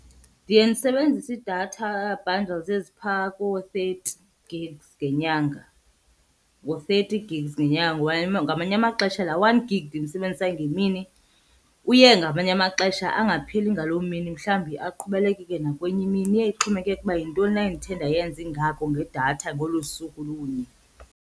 Ndiye ndisebenzise ii-data bundles ezipha koo-thirty gigs ngenyanga, ngu-thirty gigs ngenyanga. Ngamanye amaxesha laa one gig ndimsebenzisayo ngemini uye ngamanye amaxesha angapheli ngaloo mini, mhlawumbi aqhubelekeke nakwenye imini. Iye ixhomekeke ukuba yintoni na endithe ndayenza ingako ngedatha ngolo suku lunye.